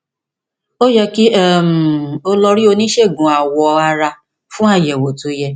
ó yẹ kí um o lọ rí oníṣègùn awọ ara fún àyẹwò tó yẹ